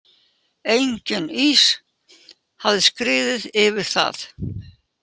Enginn ís hafði skriðið yfir það.